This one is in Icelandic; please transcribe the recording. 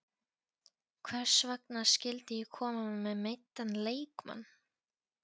Hvers vegna skyldi ég koma með meiddan leikmann?